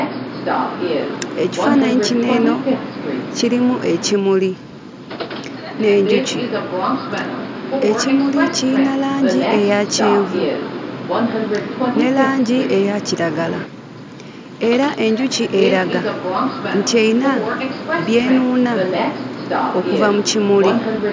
Ekifaananyi kino eno kirimu ekimuli n'enjuki. Ekimuli kiyina langi eya kyenvu ne langi eya kiragala era enjuki eraga nti eyina by'enuuna okuva mu kimuli.